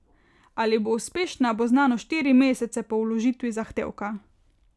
Ali bo uspešna, bo znano štiri mesece po vložitvi zahtevka.